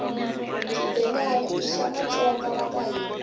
shibhelana ishamatsonga vakahhina